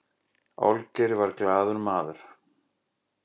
olgeir var glaður maður